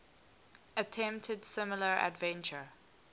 attempted similar adventure